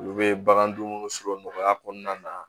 Olu bɛ bagan dumuni sɔrɔ nɔgɔya kɔnɔna na